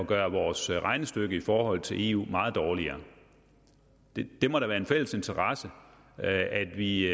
gør vores regnestykke i forhold til eu meget dårligere det må da være en fælles interesse at vi